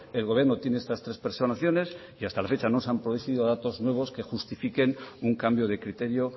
el gobierno tiene estas tres personaciones y hasta la fecha no se han producido datos nuevos que justifiquen un cambio de criterio o